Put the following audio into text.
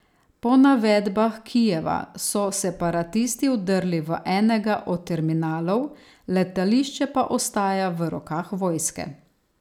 Po navedbah Kijeva so separatisti vdrli v enega od terminalov, letališče pa ostaja v rokah vojske.